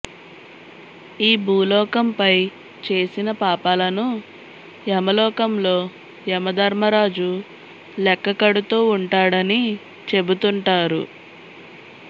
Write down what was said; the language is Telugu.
ఈ భూలోకం పై చేసిన పాపాలను యమలోకంలో యమధర్మరాజు లెక్క కడుతూ ఉంటాడని చెబుతుంటారు